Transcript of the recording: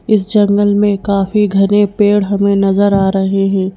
इस जंगल में काफी घने पेड़ हमें नजर आ रहे हैं।